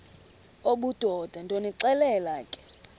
obudoda ndonixelela ke